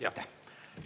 Jah, aitäh!